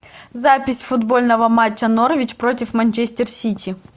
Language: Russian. запись футбольного матча норвич против манчестер сити